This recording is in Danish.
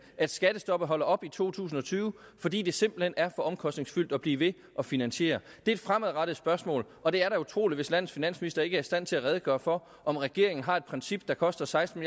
at skattestoppet holder op i to tusind og tyve fordi det simpelt hen er for omkostningsfyldt at blive ved at finansiere det er et fremadrettet spørgsmål og det er da utroligt hvis landets finansminister ikke er i stand til at redegøre for om regeringen har et princip der koster seksten